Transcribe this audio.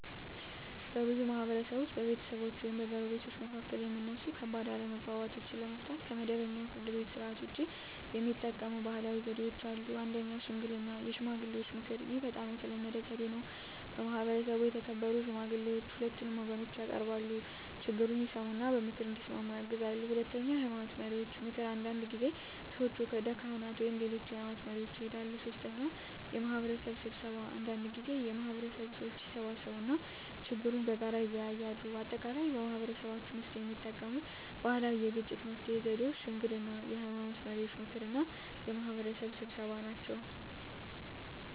በብዙ ማህበረሰቦች ውስጥ በቤተሰቦች ወይም በጎረቤቶች መካከል የሚነሱ ከባድ አለመግባባቶችን ለመፍታት ከመደበኛው የፍርድ ቤት ሥርዓት ውጭ የሚጠቀሙ ባህላዊ ዘዴዎች አሉ። 1. ሽምግልና (የሽማግሌዎች ምክር) ይህ በጣም የተለመደ ዘዴ ነው። በማህበረሰቡ የተከበሩ ሽማግሌዎች ሁለቱን ወገኖች ያቀርባሉ፣ ችግኙን ይሰሙ እና በምክር እንዲስማሙ ያግዛሉ። 2. የሃይማኖት መሪዎች ምክር አንዳንድ ጊዜ ሰዎች ወደ ካህናት ወይም ሌሎች የሃይማኖት መሪዎች ይሄዳሉ። 3. የማህበረሰብ ስብሰባ አንዳንድ ጊዜ የማህበረሰቡ ሰዎች ይሰበሰባሉ እና ችግኙን በጋራ ይወያያሉ። በአጠቃላይ በማህበረሰባችን ውስጥ የሚጠቀሙት ባህላዊ የግጭት መፍትሄ ዘዴዎች ሽምግልና፣ የሃይማኖት መሪዎች ምክር እና የማህበረሰብ ስብሰባ ናቸው።